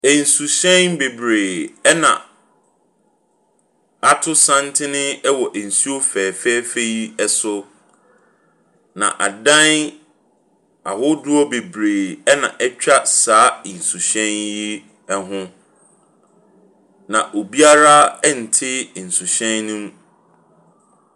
Nsuhyɛn bebree ɛna ato santene ɛwɔ nsuo fɛfɛɛfɛ yi ɛso. Na adan ahodoɔ bebree ɛna ɛtwa saa nsuhyɛn yi ho. Na obiara nnte nsuhyɛn no mu.